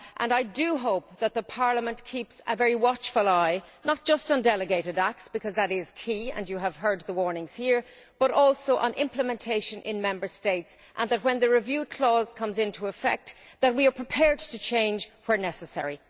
I do hope that Parliament keeps a very watchful eye not just on delegated acts, because that is key and we have heard the warnings here, but also on implementation in Member States, and that when the review clause comes into effect we are prepared to change where necessary.